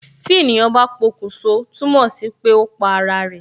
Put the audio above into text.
Tí ènìyàn bá pokun sọ, túmọ̀ sí pé ó pa ara rẹ